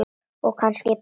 Og kannski pabba.